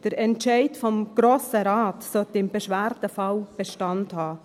Der Entscheid des Grossen Rates sollte im Beschwerdefall Bestand haben.